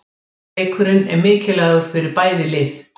Leikurinn er mikilvægur fyrir bæði lið.